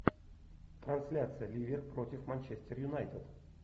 трансляция ливер против манчестер юнайтед